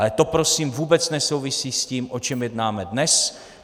Ale to prosím vůbec nesouvisí s tím, o čem jednáme dnes.